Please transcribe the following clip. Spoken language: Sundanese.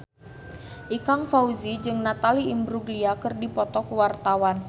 Ikang Fawzi jeung Natalie Imbruglia keur dipoto ku wartawan